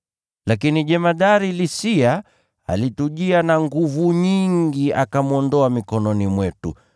Lakini jemadari Lisia alitujia na nguvu nyingi, akamwondoa mikononi mwetu,